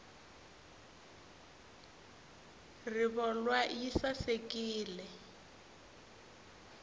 rivolwa yi sasekile